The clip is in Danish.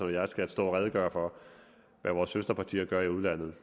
og jeg skal stå og redegøre for hvad vores søsterpartier gør i udlandet